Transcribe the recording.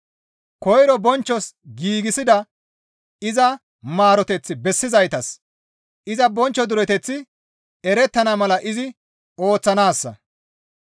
Koyro bonchchos giigsida iza maaroteth bessizaytas iza bonchcho dureteththi erettana mala izi ooththanaassa.